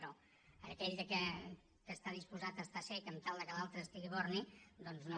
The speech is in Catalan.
però aquell que està disposat a estar cec sempre que l’altre estigui borni doncs no